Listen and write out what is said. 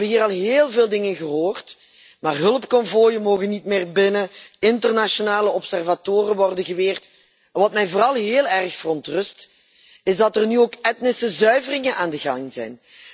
We hebben hier al heel veel dingen gehoord hulpkonvooien mogen niet meer binnen, internationale waarnemers worden geweerd. Wat mij vooral heel erg verontrust, is dat er nu ook etnische zuiveringen aan de gang zijn.